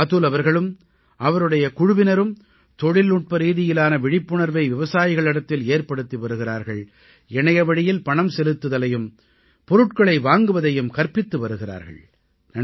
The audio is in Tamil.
அதுல் அவர்களும் அவருடைய குழுவினரும் தொழில்நுட்ப ரீதியிலான விழிப்புணர்வை விவசாயிகளிடத்தில் ஏற்படுத்தி வருகிறார்கள் இணையவழியில் பணம் செலுத்துவதையும் பொருட்களை வாங்குவதையும் கற்பித்து வருகிறார்கள்